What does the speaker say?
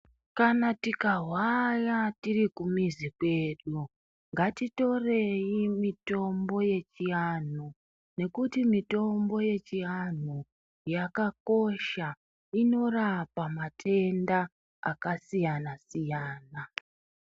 Kana rika hwaya tiri ku mizi kwedu ngati torei mitombo yechi anhu nekuti mitombo ye chi anhu yakakosha inorapa matenda aka siyana siyana.